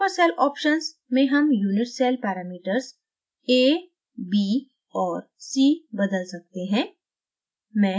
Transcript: super cell options में हम unit cell parameters a b और c बदल सकते हैं